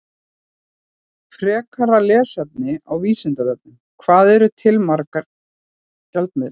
Frekara lesefni á Vísindavefnum: Hvað eru til margir gjaldmiðlar?